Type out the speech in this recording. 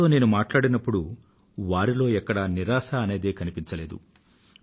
వారితో నేను మాట్లాడినప్పుడూ వారిలో ఎక్కడా నిరాశ అనేదే కనిపించలేదు